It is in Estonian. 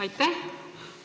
Aitäh!